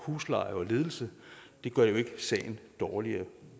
husleje og ledelse gør jo ikke sagen dårligere